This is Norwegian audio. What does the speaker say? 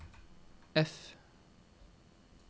F